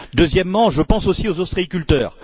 Deuxièmement, je pense aussi aux ostréiculteurs.